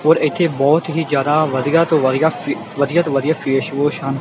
ਔਰ ਇੱਥੇ ਬਹੁਤ ਹੀ ਜਿਆਦਾ ਵਧੀਆ ਤੋਂ ਵਧੀਆ ਕ੍ਰਿ ਵਧੀਆ ਤੋਂ ਵਧੀਆ ਫੇਸਵੋਸ਼ ਹਨ।